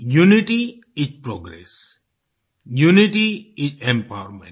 unity is progress unity is empowerment